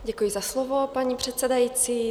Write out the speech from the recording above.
Děkuji za slovo, paní předsedající.